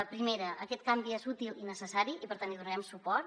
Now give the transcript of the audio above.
la primera aquest canvi és útil i necessari i per tant hi donarem suport